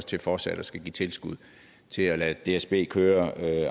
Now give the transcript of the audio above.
til fortsat at skulle give tilskud til at lade dsb køre